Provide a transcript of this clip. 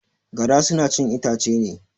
Gara suna chin itace ne.